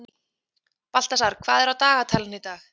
Baltasar, hvað er á dagatalinu í dag?